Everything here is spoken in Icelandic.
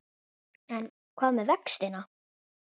En hvað með vextina?